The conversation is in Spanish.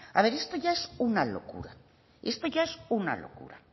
a ver esto ya es una locura esto ya es una locura